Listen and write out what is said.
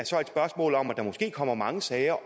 så er et spørgsmål om at der måske kommer mange sager